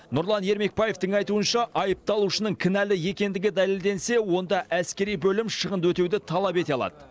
нұрлан ермекбаевтың айтуынша айыпталушының кінәлі екендігі дәлелденсе онда әскери бөлім шығынды өтеуді талап ете алады